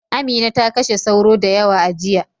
Amina ta kashe sauro da yawa a jiya.